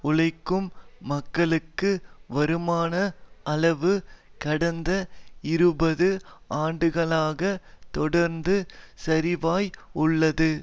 உழைக்கும் மக்களுக்கு வருமான அளவு கடந்த இருபது ஆண்டுகளாக தொடர்ந்து சரிவாய் உள்ளது